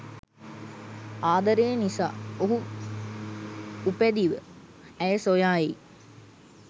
ආදරය නිසා ඔහු උපැදිව ඇය සොයා එයි.